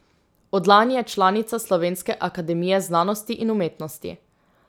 Od lani je članica Slovenske akademije znanosti in umetnosti.